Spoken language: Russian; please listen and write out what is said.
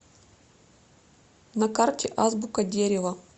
на карте азбука дерева